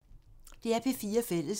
DR P4 Fælles